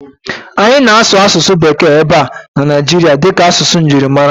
Anyị na-asụsụ Bekee ebe a na Naijiria dịka asụsụ njirimara.